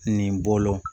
Nin bolo